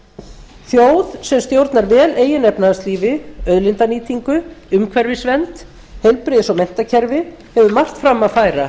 þjóð sem stjórnar vel eigin efnahagslífi auðlindanýtingu umhverfisvernd heilbrigðis og menntakerfi hefur margt fram að færa